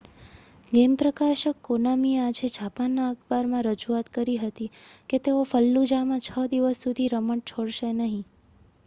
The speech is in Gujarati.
ગેમ પ્રકાશક કોનામીએ આજે જાપાનના અખબારમાં રજૂઆત કરી હતી કે તેઓ ફલ્લુજામાં છ દિવસ સુધી રમત છોડશે નહીં